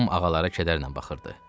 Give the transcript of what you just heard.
Tom ağalara kədərlə baxırdı.